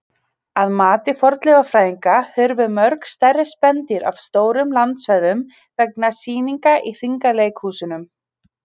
Að mati fornleifafræðinga hurfu mörg stærri spendýr af stórum landsvæðum vegna sýninga í hringleikahúsunum.